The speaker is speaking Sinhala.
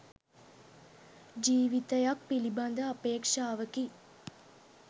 ජීවිතයක් පිළිබඳ අපේක්ෂාවකි.